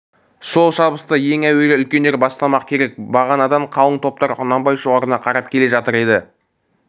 сол шабысты ең әуелі үлкендер бастамақ керек бағанадан қалың топтар құнанбай шоғырына қарап келе жатыр еді